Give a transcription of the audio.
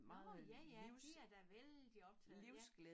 Nårh ja ja de er da vældig optaget ja